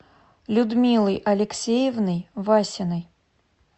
людмилой алексеевной васиной